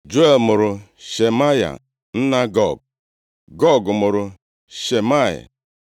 Juel mụrụ Shemaya, nna Gog, Gog mụrụ Shimei.